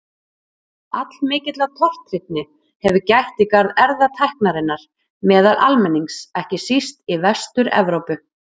Allmikillar tortryggni hefur gætt í garð erfðatækninnar meðal almennings, ekki síst í Vestur-Evrópu.